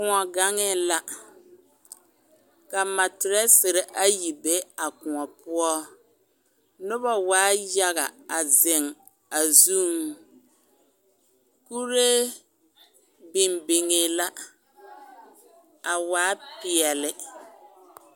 Koɔ gaŋɛɛ la ka materɛsere ayi a be a koɔ poɔ noba waa yaga a zeŋ a zuŋ kuree biŋ biŋee la a waa peɛle.